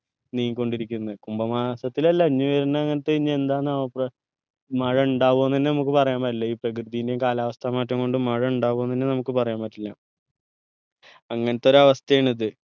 നീങ്ങിക്കൊണ്ടിരിക്കുന്നത് കുംഭമാസത്തിലല്ല ഇനി വരുന്ന അങ്ങത്തെ ഇനി എന്താന്ന് ആവ്വ മഴ ഇണ്ടാവൊന്നെന്നെ നമ്മുക്ക് പറയാൻപറ്റില്ല ഈ പ്രകൃതിൻ്റെയും കാലാവസ്ഥ മാറ്റം കൊണ്ടും മഴ ഉണ്ടാവോന്നെന്നെ നമുക്ക് പറയാൻ പറ്റില്ല അങ്ങനത്തെ ഒരു അവസ്ഥയാണിത്